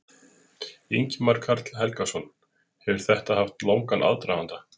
Ingimar Karl Helgason: Hefur þetta haft langan aðdraganda?